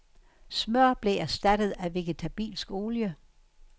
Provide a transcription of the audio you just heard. Smør blev erstattet af vegetabilsk olie.